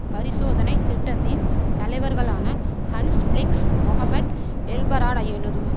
பரிசோதனை திட்டத்தின் தலைவர்களான ஹன்ஸ் பிளிக்ஸ் மொகமட் எல்பரடாயினதும்